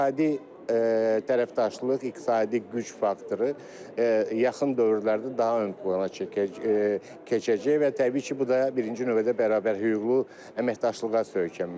İqtisadi tərəfdaşlıq, iqtisadi güc faktoru yaxın dövrlərdə daha ön plana keçəcək və təbii ki, bu da birinci növbədə bərabər hüquqlu əməkdaşlığa söykənməlidir.